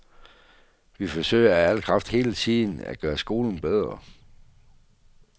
Vi forsøger af al kraft hele tiden at gøre skolen bedre.